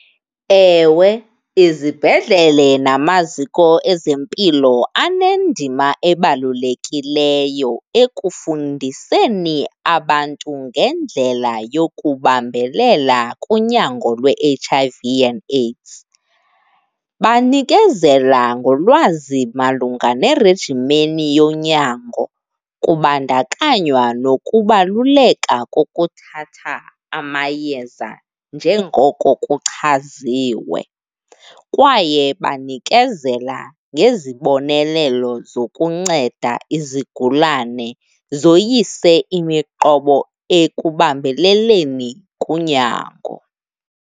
Ewe, izibhedlele namaziko ezempilo anendima ebalulekileyo ekufundiseni abantu ngendlela yokubambelela kunyango lwe-H_I_V and AIDS. Banikezela ngolwazi malunga nerejimeni yonyango, kubandakanywa nokubaluleka kokuthatha amayeza njengoko kuchaziwe. Kwaye banikezela ngezibonelelo zokunceda izigulana zoyise imiqobo ekubambeleleni kunyango.